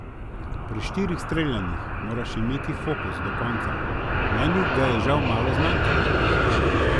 Pri štirih streljanjih moraš imeti fokus do konca, meni ga je žal malo zmanjkalo.